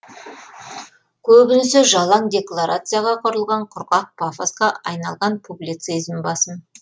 көбінесе жалаң декларацияға құрылған құрғақ пафосқа айналған публицизм басым